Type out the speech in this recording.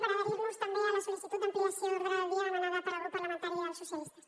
per adherir nos també a la sol·licitud d’ampliació d’ordre del dia demanada pel grup parlamentari dels socialistes